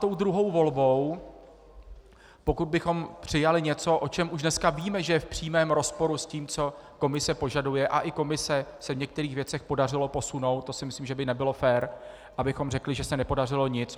Tou druhou volbou, pokud bychom přijali něco, o čem už dneska víme, že je v přímém rozporu s tím, co Komise požaduje, a i Komise se v některých věcech podařilo posunout, to si myslím, že by nebylo fér, abychom řekli, že se nepodařilo nic.